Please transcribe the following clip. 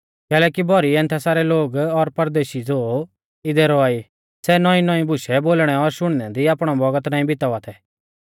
कैलैकि भौरी एथेंसा रै लोग और परदेशी ज़ो इदै रौआ ई सै नौईंनौईं बुशै बोलणै और शुणनै दी आपणौ भौगत नाईं बितावा थै